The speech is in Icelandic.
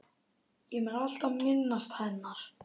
Ég mun alltaf minnast hennar.